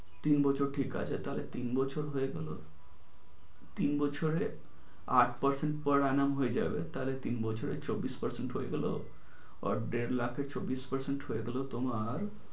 তিন বছর ঠিক আছে। তাহলে তিন বছর হয়ে গেল। তিন বছরে আট percent per annum হয়ে যাবে। তাহলে তিন বছরে চব্বিশ percent হয়ে গেলো। আর দেড় লাখে চব্বিশ percent হয়ে গেলো তোমার